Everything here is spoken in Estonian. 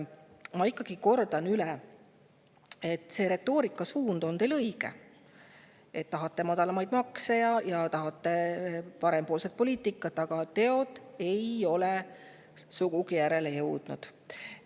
Ma kordan üle, et retoorika suund on teil õige – te tahate madalamaid makse ja parempoolset poliitikat –, aga teod ei ole sugugi järele jõudnud.